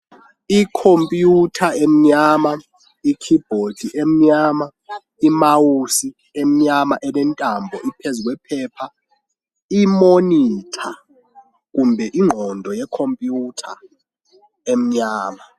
Ikhompiyuta emnyama, ikhibhodi emnyama, imawusi emnyama, elentambo iphezu kwephepha. Imonitha kumbe ingqondo yeKhompiyutha emnyama.